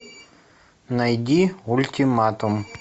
найди ультиматум